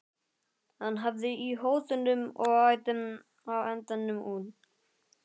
Hann hafði í hótunum og æddi á endanum út.